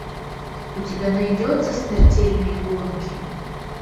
у тебя найдется смертельные гонки